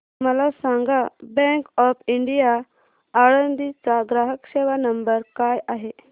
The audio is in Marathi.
मला सांगा बँक ऑफ इंडिया आळंदी चा ग्राहक सेवा नंबर काय आहे